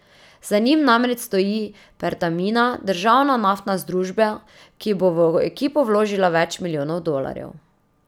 Za njim namreč stoji Pertamina, državna naftna združba, ki bo v ekipo vložila več milijonov dolarjev.